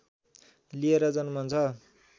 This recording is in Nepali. लिएर जन्मन्छ